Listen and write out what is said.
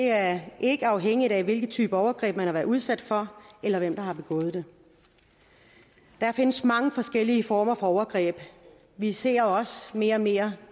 er ikke afhængigt af hvilken type overgreb man har været udsat for eller hvem der har begået det der findes mange forskellige former for overgreb vi ser også mere og mere